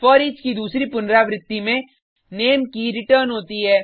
foreach की दूसरी पुनरावृति में नेम की रिटर्न होती है